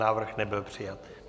Návrh nebyl přijat.